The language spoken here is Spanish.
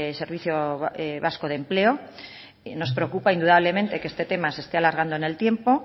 servicio vasco de empleo nos preocupa indudablemente que este tema se esté alargando en el tiempo